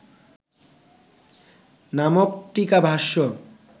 নামক টীকাভাষ্য